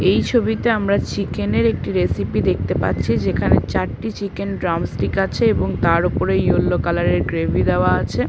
এই ছবিতে আমরা চিকেন এর একটি রেসিপি দেখতে পাচ্ছি যেখানে চারটি চিকেন ড্রামস স্টিক আছে এবং তার ওপরে ইয়েলো কালার এর গ্রেভি দেওয়া আছে।